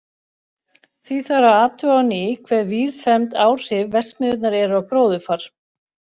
Því þarf að athuga á ný hve víðfeðm áhrif verksmiðjunnar eru á gróðurfar.